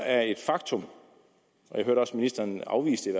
er et faktum ministeren afviste i